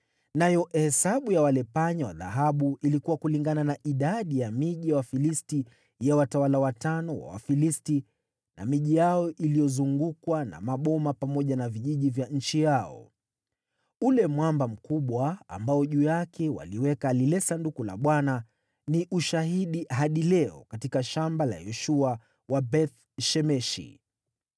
Nayo hesabu ya wale panya wa dhahabu ilikuwa kulingana na idadi ya miji ya Wafilisti ya watawala watano wa Wafilisti: miji yao iliyozungukwa na maboma, pamoja na vijiji vya miji hiyo. Ule mwamba mkubwa, ambao juu yake waliliweka lile Sanduku la Bwana , ni ushahidi hadi leo katika shamba la Yoshua wa Beth-Shemeshi.